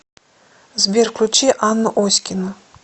сбер включи анну оськину